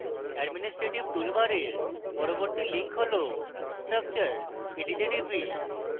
administrative toolbar পরবর্তী link হল structure এটিতে টিপি